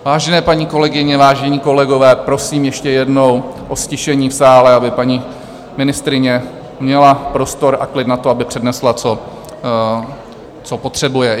Vážené paní kolegyně, vážení kolegové, prosím ještě jednou o ztišení v sále, aby paní ministryně měla prostor a klid na to, aby přednesla, co potřebuje.